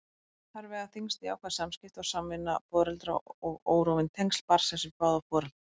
Þar vega þyngst jákvæð samskipti og samvinna foreldra og órofin tengsl barnsins við báða foreldra.